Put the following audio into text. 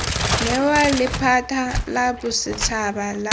newa lephata la bosetshaba la